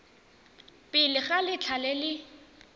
pele ga letlha le le